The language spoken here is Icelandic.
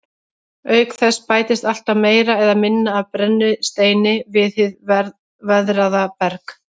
Auk þess bætist alltaf meira eða minna af brennisteini við hið veðraða berg.